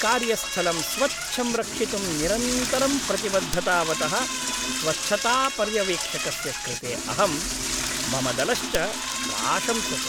कार्यस्थलं स्वच्छं रक्षितुं निरन्तरं प्रतिबद्धतावतः स्वच्छतापर्यवेक्षकस्य कृते अहं, मम दलश्च प्राशंसत्।